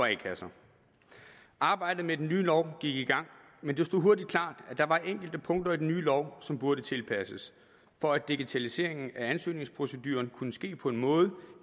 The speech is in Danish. a kasser arbejdet med den nye lov gik i gang men det stod hurtigt klart at der var enkelte punkter i den nye lov som burde tilpasses for at digitaliseringen af ansøgningsproceduren kan ske på en måde